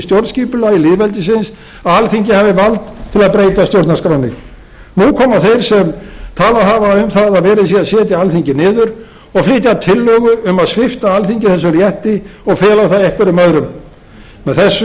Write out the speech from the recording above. stjórnskipulagi lýðveldisins að alþingi hafi vald til að breyta stjórnarskránni nú koma þeir sem talað hafa um það að verið sé að setja alþingi niður og flytja tillögu um að svipta alþingi þessum rétti og fela það einhverjum öðrum með þessu